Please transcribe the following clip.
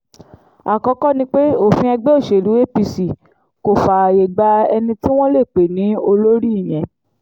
àkọ́kọ́ ni pé òfin ẹgbẹ́ òṣèlú apc kò fààyè gba ẹni tí wọ́n lè pè ní olórí ìyẹn